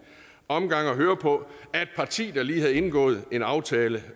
omgang at høre på af et parti der lige havde indgået en aftale